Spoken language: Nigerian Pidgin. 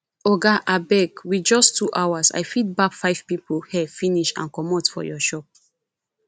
oga abeg with just two hours i fit barb five people hair finish and comot for your shop